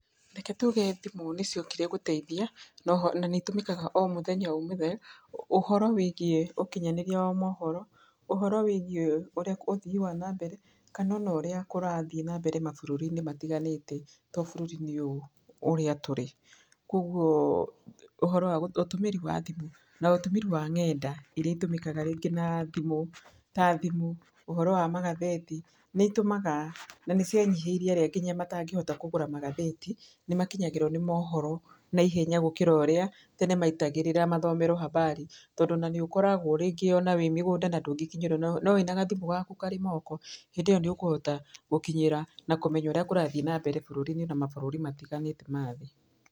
Reke tuge thimũ nĩciokire gũteithia na oho nĩitũmĩkaga o mũthenya o mũthenya. Ũhoro wĩgiĩ ũkinyanĩria wa mohoro, ũhoro wĩgiĩ ũthii wa nambere kana ona ũrĩa kũrathiĩ na mbere mabũrũri-inĩ matiganĩte to bũrũri-inĩ ũyũ ũrĩa tũrĩ. Koguo ũhoro wa, ũtũmĩri wa thimũ na ũtũmĩri wa ng'enda iria itũmĩkaga rĩngĩ na thimũ ta thimũ, ũhoro wa magathĩti nĩitũmaga na nĩcianyihĩirie nginya arĩa matangĩhota kũgũra magathĩti nĩmakinyagĩrwo nĩ mohoro naihenya, gũkĩra ũrĩa tene metagĩrĩra mathomerwo habari tondũ nĩ ũkoragwo rĩngĩ ona wĩ mĩgũnda na ndũngĩkinyĩrwo, no wĩna gathimũ gaku karĩ moko hĩndĩ ĩyo nĩ ũkũhota gũkinyĩra na kũmenya ũrĩa kũrathiĩ bũrũri-inĩ na mabũrũri matiganĩte ma thĩ.